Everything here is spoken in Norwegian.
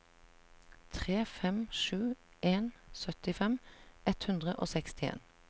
tre fem sju en syttifem ett hundre og sekstien